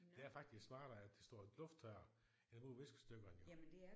Det er faktisk smartere at det står og lufttørrer end at bruge viskestykkerne jo